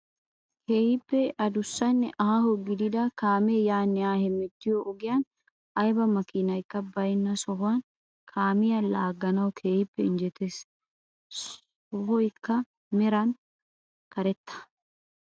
Keehippe adussanne aaho gidida kaamee yaanne haa hemettiyoo ogiyaan ayba makinaykka baynna sohoy kaamiyaa laaganawu keehippe injetees. sohoykka meran karetta.